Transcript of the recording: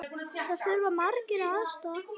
Þar þurfa margir aðstoð.